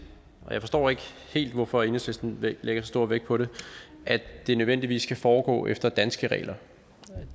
og jeg forstår ikke helt hvorfor enhedslisten lægger så stor vægt på det at det nødvendigvis skal foregå efter danske regler